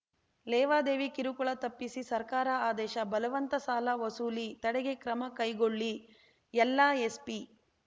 ಲೇವಾದೇವಿ ಕಿರುಕುಳ ತಪ್ಪಿಸಿ ಸರ್ಕಾರ ಆದೇಶ ಬಲವಂತ ಸಾಲ ವಸೂಲಿ ತಡೆಗೆ ಕ್ರಮ ಕೈಗೊಳ್ಳಿ ಎಲ್ಲಾ ಎಸ್‌ಪಿ